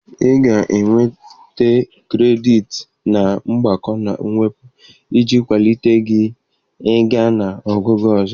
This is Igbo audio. Ị ga-enweta kredit na mgbakọ na mwepụ iji kwalite gị ị ga na ogugo ọzọ.